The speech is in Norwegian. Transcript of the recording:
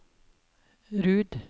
Rud